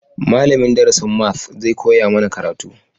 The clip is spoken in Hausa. Malamin darasin maths zai koya mana karatu